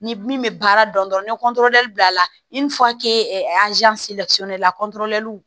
Ni min bɛ baara dɔn dɔrɔn ni bila la la